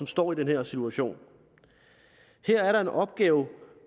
står i den her situation her er der en opgave